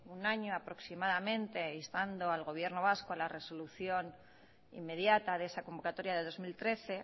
un año aproximadamente instando al gobierno vasco a la resolución inmediata de esa convocatoria de dos mil trece